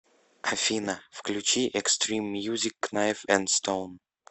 афина включи экстрим мьюзик кнайф энд стоун